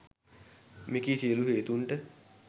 මෙකී සියලු හේතූන්ට